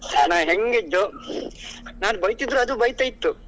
ನಾನ್ ಹೆಂಗೆ ನಾನ್ ಬೈತಾ ಇದ್ರೆ ಅದು ಬೈತಾ ಇತ್ತು.